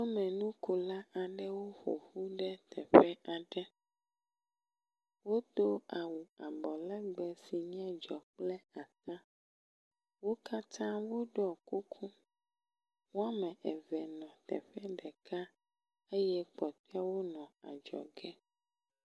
Wo le nu ƒom na ame aɖewo ƒoƒu ɖe teƒe aɖe. wodo awu abɔlegbe si nye dzɔ kple ata. Wo katã woɖɔ kuku. Wɔme eve le teƒe ɖeka eye kpɔtɔewo nɔ adzɔge.